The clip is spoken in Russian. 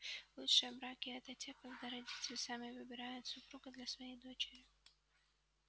лучшие браки это те когда родители сами выбирают супруга для своей дочери